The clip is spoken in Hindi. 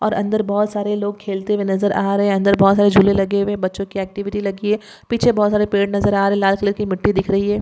और अंदर बहुत सारे लोग खेलते हुवे नज़र आरहे है अंदर बहुत सारे झूले लगे हुवे है बच्चों की एक्टिविटी लगी है पीछे बहुत सारे पेड़ नज़र आरहे है लाल कलर की मिट्टी दिखरही है.